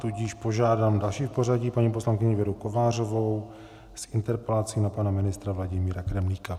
Tudíž požádám další v pořadí paní poslankyni Věru Kovářovou s interpelací na pana ministra Vladimíra Kremlíka.